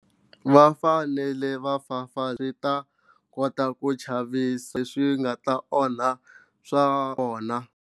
Vafanele vafafarita va kota ku chavisa swi nga ta onha swa vona.